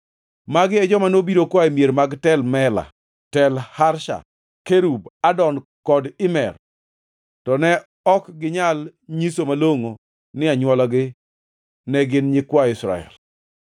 Magi e joma nobiro koa e mier mag Tel Mela, Tel Harsha, Kerub, Adon kod Imer, to ne ok ginyal nyiso malongʼo ni anywolagi ne gin nyikwa Israel.